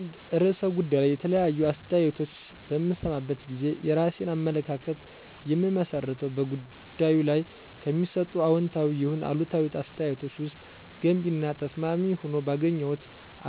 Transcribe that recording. በአንድ ርዕሰ ጉዳይ ላይ የተለያዩ አስተያየቶችን በምሰማበት ጊዜ የራሴን አመለካከት የምመሰርተው በጉዳዩ ላይ ከሚሰጡት አዎንታዊ ይሁን አሉታዊ አስተያየቶች ውስጥ ገንቢ እና ተስማሚ ሆኖ ባገኘሁት